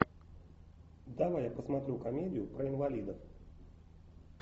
давай я посмотрю комедию про инвалидов